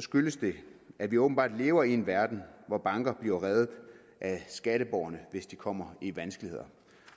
skyldes det at vi åbenbart lever i en verden hvor banker bliver reddet af skatteborgerne hvis de kommer i vanskeligheder